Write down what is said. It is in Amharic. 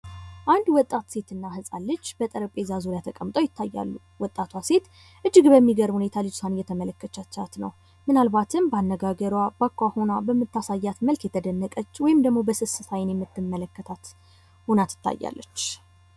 አንድ ወጣት ሴትና ህጻን ልጅ በጠረጴዛ ዙሪያ ተቀምጠው ይታያሉ። ወጣቷ ሴት እጅግ በሚገርም እይታ ልጅቷን እየተመለከተቻት ነው። ምናልባትም በአነጋገሯ በአኳኋኗ በምታሳያት መልክ የተደነቀች ወይም ደግሞ በስስት አይን የምትመለታት ሁና ትታያለች።